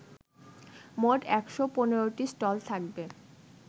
মোট ১৫৫টি স্টল থাকবে